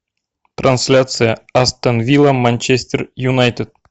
трансляция астон вилла манчестер юнайтед